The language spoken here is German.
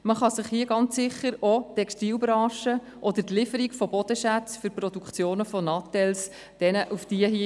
Man kann hier ganz sicher auch auf die Textilbranche oder die Lieferung von Bodenschätzen zur Produktion von Handys verweisen.